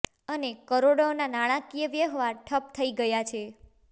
અને કરોડોના નાણાંકીય વ્યવહાર ઠપ્પ થઇ ગયા છે